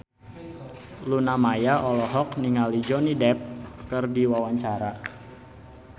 Luna Maya olohok ningali Johnny Depp keur diwawancara